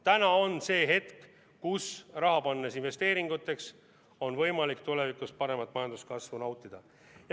Täna on see hetk, kui raha investeeringutesse pannes on võimalik tulevikus paremat majanduskasvu nautida.